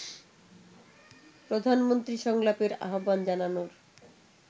প্রধানমন্ত্রী সংলাপের আহ্বান জানানোর